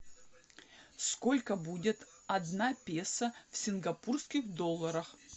сколько будет одна песо в сингапурских долларах